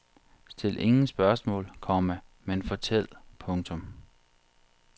Stil ingen spørgsmål, komma men fortæl. punktum